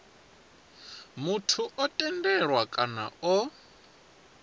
muthu o tendelwaho kana o